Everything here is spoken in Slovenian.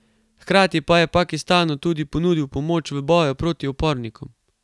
Hkrati pa je Pakistanu tudi ponudil pomoč v boju proti upornikom.